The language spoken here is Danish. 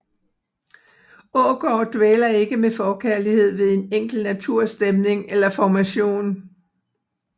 Aagaard dvæler ikke med forkærlighed ved en enkelt naturstemning eller formation